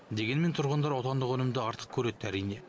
дегенмен тұрғындар отандық өнімді артық көреді әрине